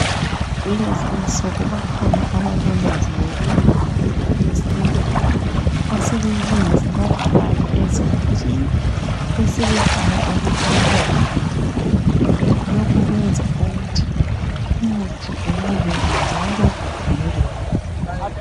Kulezinsuku bakhona abalolwazi lokulungisa imithi yesintu asebeyilungisa bayifake ezigujini besebebhala ukuthi lowu ngumuthi bani lokho kwenza ukuthi umuthi ubukeke njalo ugcineke kuhle.